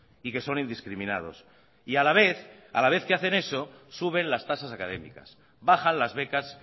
y que son indiscriminados y a la vez a la vez que hacen eso suben las tasas académicas bajan las becas